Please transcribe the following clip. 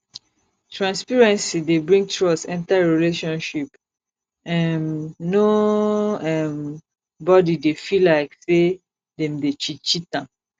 transparency dey bring trust enter relationship um no um body dey feel like sey dem dey cheat cheat am